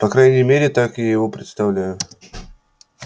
по крайней мере так я его представляю